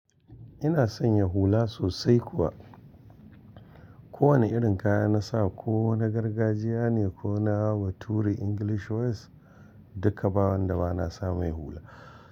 Ina san ya hula sosai kuwa. Ko wane irin kaya na sa ko na gargajiya ne ko na bature English wears duka ba wanda ba na samai hula.